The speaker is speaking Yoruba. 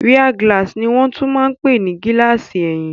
Rear glass ní wọ́n tún máa n pè ní gílààsì ẹ̀yìn